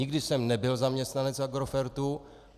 Nikdy jsem nebyl zaměstnanec Agrofertu.